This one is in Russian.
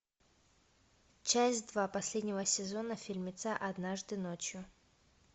часть два последнего сезона фильмеца однажды ночью